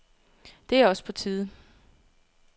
Det er også på tide.